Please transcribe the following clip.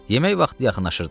Yemək vaxtı yaxınlaşırdı.